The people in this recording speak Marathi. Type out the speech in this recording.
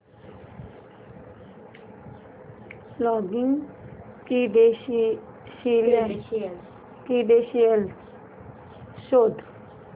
लॉगिन क्रीडेंशीयल्स शोध